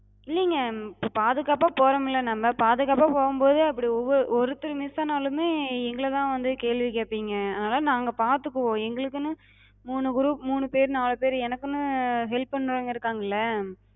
இல்லிங்க, பாதுகாப்பா போறோம்ல நம்ம, பாதுகாப்பா போகும்போது அப்படி ஒவ்வொ ஒருத்தர் miss ஆனாலுமே எங்களதா வந்து கேள்வி கேபிங்க. அதனால நாங்க பாத்துக்குவோ. எங்களுக்குனு மூணு group மூணு பேரு நாலு பேரு எனக்குனு help பண்றவங்க இருகாங்கல்ல,